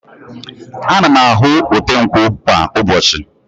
Ana m ahụ ote nkwụ kwa ụbọchị.